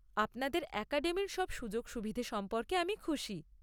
আপনাদের অ্যাকাডেমির সব সুযোগ সুবিধে সম্পর্কে আমি খুশি।